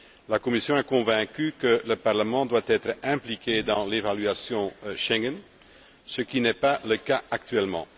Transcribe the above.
La Commission est convaincue que le Parlement doit être impliqué dans l'évaluation Schengen, ce qui n'est pas le cas actuellement.